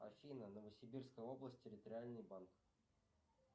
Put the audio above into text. афина новосибирская область территориальный банк